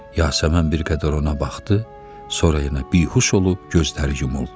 Yasəmən bir qədər ona baxdı, sonra yenə bihuş olub gözləri yumuldu.